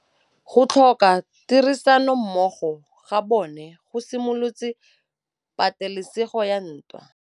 Go tlhoka tirsanommogo ga bone go simolotse patêlêsêgô ya ntwa.